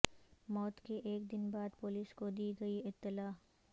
موت کے ایک دن بعد پولیس کو دی گئی اطلاع